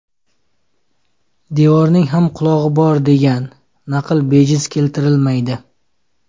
Devorning ham qulog‘i bor degan, naql bejiz keltirilmaydi.